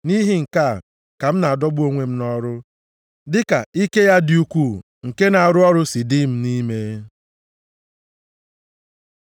Nʼihi nke a ka m na-adọgbu onwe m nʼọrụ, dị ka ike ya dị ukwuu nke na-arụ ọrụ si dị m nʼime.